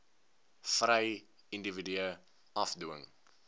vry individue afdwing